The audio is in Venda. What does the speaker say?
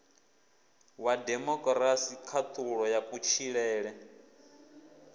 wa demokirasi khaṱhulo ya kutshilele